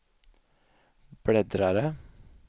bläddrare